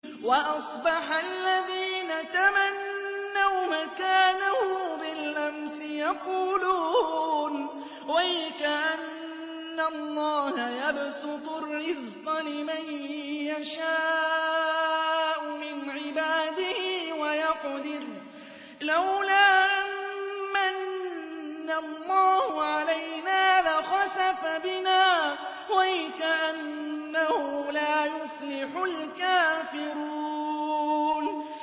وَأَصْبَحَ الَّذِينَ تَمَنَّوْا مَكَانَهُ بِالْأَمْسِ يَقُولُونَ وَيْكَأَنَّ اللَّهَ يَبْسُطُ الرِّزْقَ لِمَن يَشَاءُ مِنْ عِبَادِهِ وَيَقْدِرُ ۖ لَوْلَا أَن مَّنَّ اللَّهُ عَلَيْنَا لَخَسَفَ بِنَا ۖ وَيْكَأَنَّهُ لَا يُفْلِحُ الْكَافِرُونَ